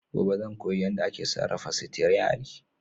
Gobe ​​zan koyi yadda ake sarrafa sitiyari.